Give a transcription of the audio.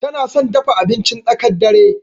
Tana son dafa abincin tsakar dare.